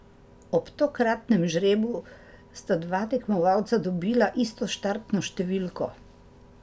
Ob tokratnem žrebu sta dva tekmovalca dobila isto štartno številko.